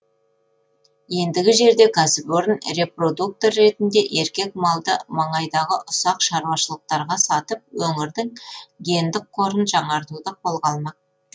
ендігі жерде кәсіпорын репродуктор ретінде еркек малды маңайдағы ұсақ шаруашылықтарға сатып өңірдің гендік қорын жаңартуды қолға алмақ